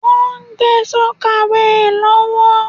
Wọ́n ń gbé sọ́kàweè lọ́wọ́.